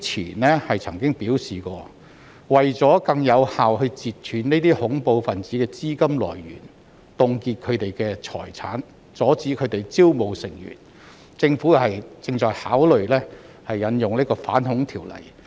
局長過去曾經表示，為了更有效地截斷這些恐怖分子的資金來源，凍結他們的財產，並阻止他們招募成員，政府正考慮引用《條例》。